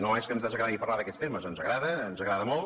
no és que ens desagradi parlar d’aquests temes ens agrada ens agrada molt